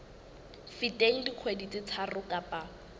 feteng dikgwedi tse tharo kapa